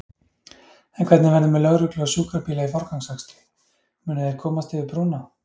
En hvernig verður með lögreglu og sjúkrabíla í forgangsakstri, munu þeir komast yfir brúna?